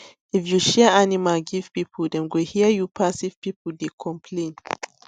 if you share animal give people dem go hear you pass if people dey complain